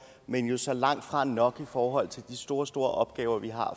men jo så langt fra nok i forhold til de store store opgaver vi har